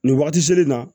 Nin wagati selen in na